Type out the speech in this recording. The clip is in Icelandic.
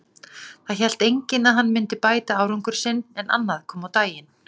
Þá hélt enginn að hann myndi bæta árangur sinn, en annað kom á daginn.